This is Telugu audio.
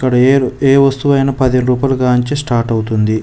ఇక్కడ ఏ వస్తువైనా పదిహేను రూపాయలు గాంచి స్టార్ట్ అవుతుంది.